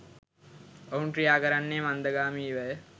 ඔවුන් ක්‍රියාකරන්නේ මන්දගාමීවය.